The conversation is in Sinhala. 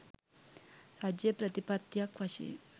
රජය ප්‍රතිපත්තියක් වශයෙන්